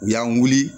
U y'an weele